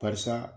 Barisa